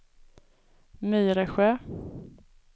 Myresjö